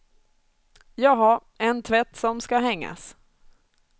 Jaha, en tvätt som skall hängas.